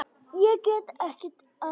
Ég get ekki annað.